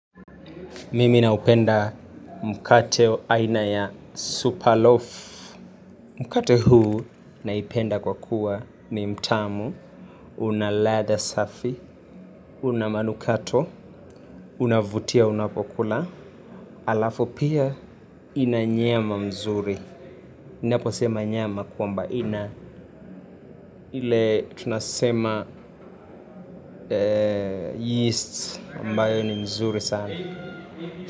Mimi naupenda mkate aina ya superloaf. Mkate huu naipenda kwa kuwa ni mtamu, una ladha safi, una manukato, unavutia unapo kula alafu pia ina nyama nzuri ninapo sema nyama kwamba ina. Ile tunasema yeast ambayo ni mzuri sana.